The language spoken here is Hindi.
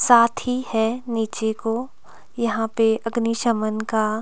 साथी है नीचे को यहां पे अग्निशमन का--